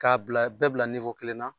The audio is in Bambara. K'a bila bɛɛ bila kelen na